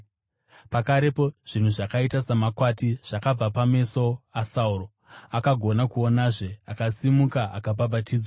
Pakarepo, zvinhu zvakaita samakwati zvakabva pameso aSauro, akagona kuonazve. Akasimuka akabhabhatidzwa,